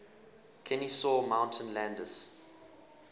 kenesaw mountain landis